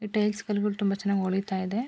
ಈ ಟೈಲ್ಸ್ ಕಲ್ ಗಳು ತುಂಬಾ ಚೆನ್ನಾಗಿ ಹೊಳಿತಾ ಇದೆ.